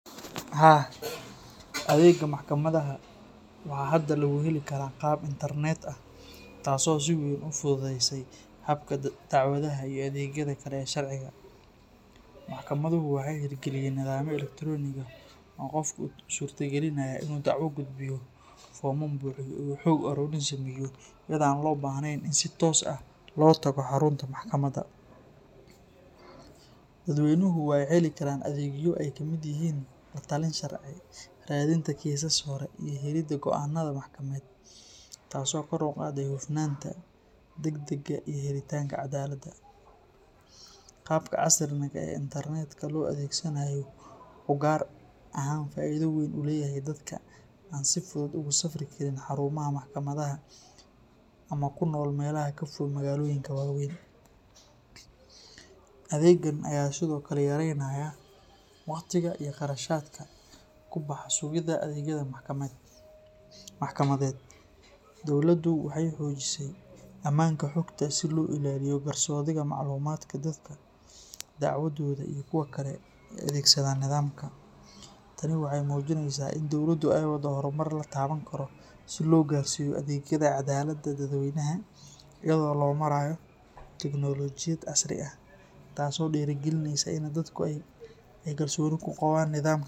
Haa, adeega maxkamadaha waxaa hadda lagu heli karaa qaab internet ah, taas oo si weyn u fududeysay habka dacwadaha iyo adeegyada kale ee sharciga. Maxkamaduhu waxay hirgeliyeen nidaamyo elektaroonig ah oo qofku u suurtagelinaya inuu dacwo gudbiyo, foomam buuxiyo, iyo xog uruurin sameeyo iyadoo aan loo baahnayn in si toos ah loo tago xarunta maxkamadda. Dadweynuhu waxay heli karaan adeegyo ay ka mid yihiin la-talin sharci, raadinta kiisas hore, iyo helidda go’aannada maxkamadeed, taasoo kor u qaaday hufnaanta, degdegga iyo helitaanka cadaaladda. Qaabka casriga ah ee internetka loo adeegsanayo wuxuu gaar ahaan faa’iido weyn u leeyahay dadka aan si fudud ugu safri karin xarumaha maxkamadaha ama ku nool meelaha ka fog magaalooyinka waaweyn. Adeegan ayaa sidoo kale yaraynaya waqtiga iyo kharashaadka ku baxa sugidda adeegyada maxkamadeed. Dowladdu waxay xoojisay ammaanka xogta si loo ilaaliyo qarsoodiga macluumaadka dadka dacwooda iyo kuwa kale ee adeegsada nidaamka. Tani waxay muujinaysaa in dowladdu ay waddo horumar la taaban karo si loo gaarsiiyo adeegyada cadaaladda dadweynaha iyada oo loo marayo teknoolojiyad casri ah, taasoo dhiirrigelinaysa in dadku ay kalsooni ku qabaan nidaamka garsoorka.